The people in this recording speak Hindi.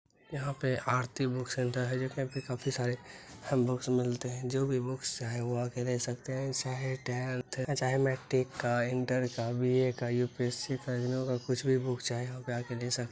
यहाँ पे आरती बुक सेंटर है जो की यहाँ पे काफी सारे बुक्स मिलते हैं जो भी बुक चाहे वो आ के ले सकते है चाहे टैंथ चाहे मैट्रिक का इंटर का बी.ए. का यू.पी.एस.सी. का इग्नू का कुछ भी बुक चाहे होगा आ के ले सक --